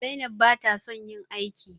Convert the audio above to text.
Zainab bata son yin aiki.